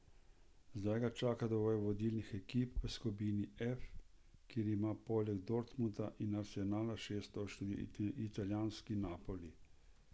Zdaj ga čaka dvoboj vodilnih ekip v skupini F, kjer ima poleg Dortmunda in Arsenala šest točk tudi italijanski Napoli.